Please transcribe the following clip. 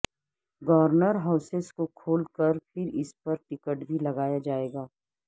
governor houses کو کھول کر پھر اس پر ٹکٹ بھی لگایا جائے گا